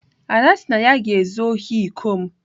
Ada sị na ya ga-ezu ohi iko m.